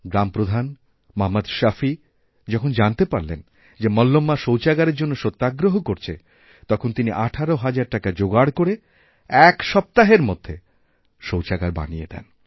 গ্রামপ্রধান মহম্মদ শাফি যখনজানতে পারেন যে মল্লম্মা শৌচাগারের জন্য সত্যাগ্রহ করছে তখন তিনি ১৮ হাজার টাকাযোগাড় করে এক সপ্তাহের মধ্যে শৌচাগার বানিয়ে দেন